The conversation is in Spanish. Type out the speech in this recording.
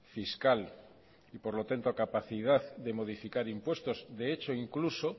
fiscal y por lo tanto capacidad de modificar impuestos de hecho incluso